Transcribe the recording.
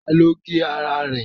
Ta ló gé ara ẹ̀?